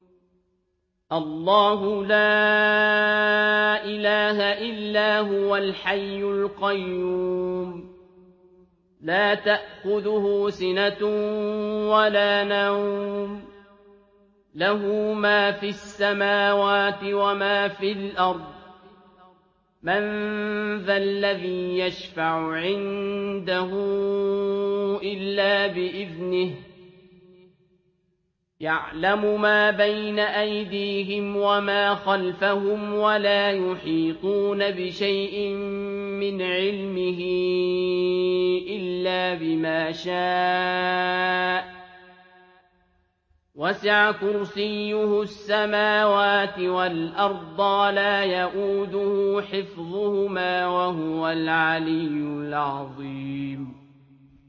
اللَّهُ لَا إِلَٰهَ إِلَّا هُوَ الْحَيُّ الْقَيُّومُ ۚ لَا تَأْخُذُهُ سِنَةٌ وَلَا نَوْمٌ ۚ لَّهُ مَا فِي السَّمَاوَاتِ وَمَا فِي الْأَرْضِ ۗ مَن ذَا الَّذِي يَشْفَعُ عِندَهُ إِلَّا بِإِذْنِهِ ۚ يَعْلَمُ مَا بَيْنَ أَيْدِيهِمْ وَمَا خَلْفَهُمْ ۖ وَلَا يُحِيطُونَ بِشَيْءٍ مِّنْ عِلْمِهِ إِلَّا بِمَا شَاءَ ۚ وَسِعَ كُرْسِيُّهُ السَّمَاوَاتِ وَالْأَرْضَ ۖ وَلَا يَئُودُهُ حِفْظُهُمَا ۚ وَهُوَ الْعَلِيُّ الْعَظِيمُ